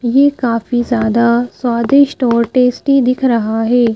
ये काफी ज्यादा स्वादिष्ट और टेस्टी दिख रहा है ।